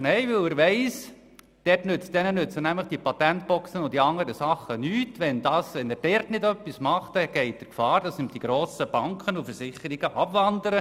– Nein, er weiss, dass er sonst Gefahr läuft, dass die grossen Banken und Versicherungen abwandern.